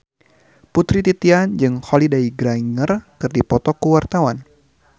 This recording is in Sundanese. Putri Titian jeung Holliday Grainger keur dipoto ku wartawan